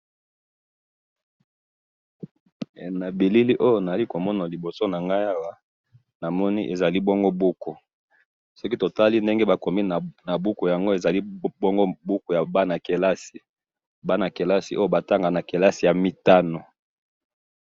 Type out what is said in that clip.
Na bilili Oyo naali komona liboso na ngayi awa, namoni ezali bongo buku. Soki totali ndenge bakomi na buku yango, ezali bongo buku ya Bana kelasi, Bana kelasi Oyo batanga na kelasi ya mitano